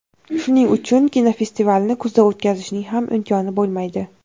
Shuning uchun kinofestivalni kuzda o‘tkazishning ham imkoni bo‘lmaydi.